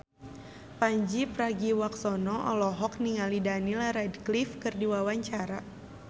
Pandji Pragiwaksono olohok ningali Daniel Radcliffe keur diwawancara